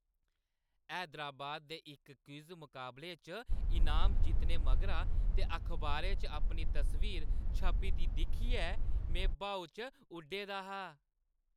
हैदराबाद दे इक क्विज़ मकाबले च इनाम जित्तने मगरा ते अखबारै च अपनी तस्वीर छपी दी दिक्खियै में ब्हाऊ च उड्डै दा हा ।